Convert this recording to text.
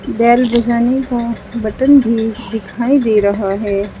Bell design का button भी दिखाई दे रहा है।